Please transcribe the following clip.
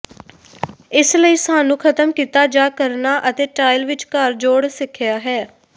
ਇਸ ਲਈ ਸਾਨੂੰ ਖਤਮ ਕੀਤਾ ਜਾ ਕਰਨਾ ਅਤੇ ਟਾਇਲ ਵਿਚਕਾਰ ਜੋਡ਼ ਸਿੱਖਿਆ ਹੈ